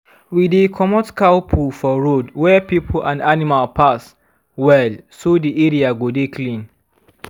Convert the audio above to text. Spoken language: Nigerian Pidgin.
we dey comot cow poo for road weh people and animal pass well so the area go dey clean